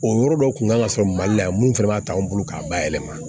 O yɔrɔ dɔ kun kan ka sɔrɔ mali la yan mun fɛnɛ b'a ta an bolo k'a bayɛlɛma